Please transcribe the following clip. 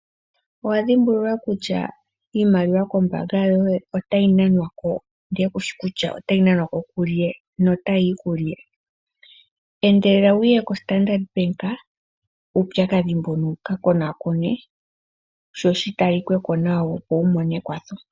Owadhimbulula kutya iimaliwa kombaanga yoye otayi nanwa ko nokushi kutya otayi nanwa ko kulye? Endelela wuye koStandard bank uupyakadhi mbuno wuka konakonwe sho shi tali ke ko nawa wu mone ekwatho.